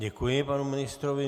Děkuji panu ministrovi.